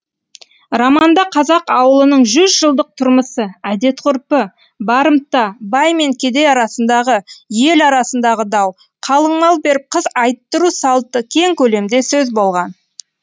романда қазақ ауылының жүз жылдық тұрмысы әдет ғұрпы барымта бай мен кедей арасындағы ел арасындағы дау қалың мал беріп қыз айттыру салты кең көлемде сөз болған